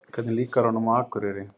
Hvernig líkar honum á Akureyri?